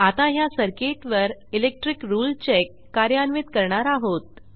आता ह्या सर्किटवर इलेक्ट्रिक रुळे चेक कार्यान्वित करणार आहोत